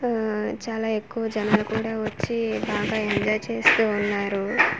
ఆ చాలా ఎక్కు జనాలు కూడా వచ్చి బాగా ఎంజాయ్ చేస్తువున్నారు .